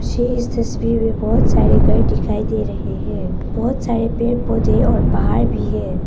मुझे इस तस्वीर में बहुत सारे घर दिखाई दे रहे हैं बहुत सारे पेड़ पौधे और पहाड़ भी है।